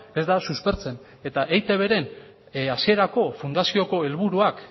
ez da suspertzen eta eitbren hasierako fundazioko helburuak